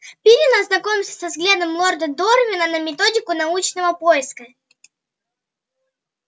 пиренн ознакомился со взглядами лорда дорвина на методику научного поиска